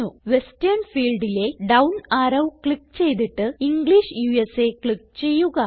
western ഫീൽഡിലെ down arrow click ചെയ്തിട്ട് English ഉസ ക്ലിക്ക് ചെയ്യുക